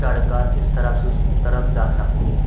चढ़ कर इस तरफ से उस तरफ जा सकती हैं।